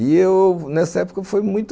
E eu, nessa época, foi muito